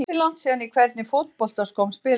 Ansi langt síðan Í hvernig fótboltaskóm spilar þú?